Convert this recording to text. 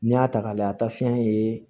N'i y'a ta k'a lajɛ a ta fiyɛn ye